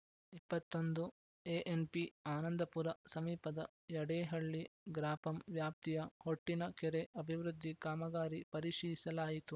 ಇಪ್ಪತ್ತ್ ಒಂದು ಎಎನ್‌ಪಿ ಆನಂದಪುರ ಸಮೀಪದ ಯಡೇಹಳ್ಳಿ ಗ್ರಾಪಂ ವ್ಯಾಪ್ತಿಯ ಹೊಟ್ಟಿನ ಕೆರೆ ಅಭಿವೃದ್ಧಿ ಕಾಮಗಾರಿ ಪರಿಶೀಸಲಾಯಿತು